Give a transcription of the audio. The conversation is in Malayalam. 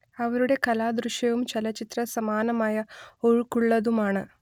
അവരുടെ കല ദൃശ്യവും ചലച്ചിത്രസമാനമായ ഒഴുക്കുള്ളതുമാണ്